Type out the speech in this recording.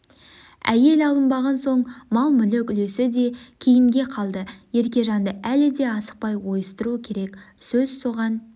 әйел алынбаған соң мал-мүлік үлесі де кейінге қалды еркежанды әлі де асықпай ойыстыру керек сөз соған